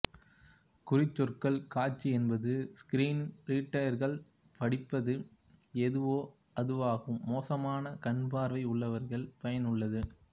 குறிச்சொற்கள் காட்சி என்பது ஸ்கிரீன் ரீடர்கள் படிப்பது எதுவோ அதுவாகும் மோசமான கண்பார்வை உள்ளவர்களுக்கு பயனுள்ளது